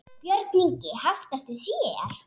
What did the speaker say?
Björn Ingi: Haft eftir þér?